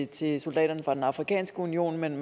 til soldaterne fra den afrikanske union men